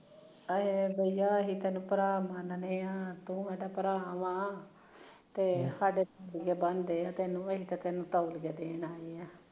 ਅਸੀਂ ਤੈਨੂੰ ਭਰਾ ਮੰਨਦੇ ਐ ਤੂੰ ਸਾਡਾ ਭਰਾ ਵ ਅਸੀਂ ਤਾਂ ਤੈਨੂੰ ਤੋਲੀਏ ਦੇਣ ਆਏ ਐ